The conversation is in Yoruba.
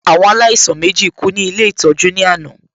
Àwọn alaisan mèjí kú ní Ilé ìtọ́jú ní àná